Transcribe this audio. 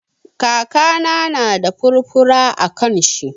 Kakana na da furfura a kan shi.